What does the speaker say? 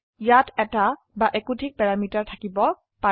ইয়াতএটা বা একোধিক প্যাৰামিটাৰথাকিব পাৰে